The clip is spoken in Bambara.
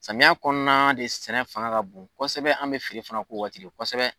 Samiya kɔnɔna de sɛnɛ fanga ka bon kosɛbɛ, an bɛ feere fana k'o wagati .kosɛbɛ